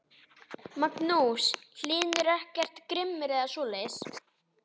Magnús Hlynur: Er hann ekkert grimmur eða svoleiðis?